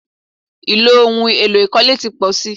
Ì̀lò ohun èlo ìkọ́lé ti pọ̀ si.